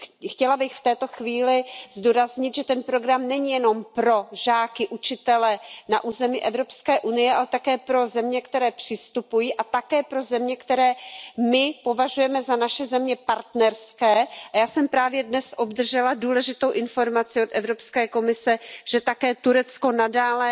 Chtěla bych v této chvíli zdůraznit, že ten program není jenom pro žáky, učitele na území Evropské unie, ale také pro země, které přistupují, a také pro země, které my považujeme za naše země partnerské, a já jsem právě dnes obdržela důležitou informaci od Evropské komise, že také Turecko nadále